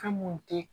Fɛn mun te